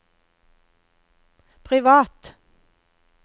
privat